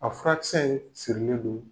A furakisɛ in sirilen do.